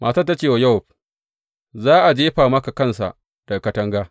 Matar ta ce wa Yowab, Za a jefa maka kansa daga katanga.